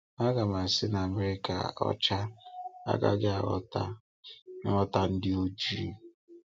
Agàm àsị na ‘America ọcha’ agaghị aghọta nghọta ‘ndì oji’.